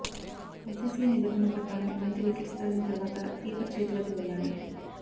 ICC నిబంధనల ప్రకారం బంతి వికెట్స్ దాటిన తర్వాత కీపర్ చేతిలోకి వెళ్ళాలి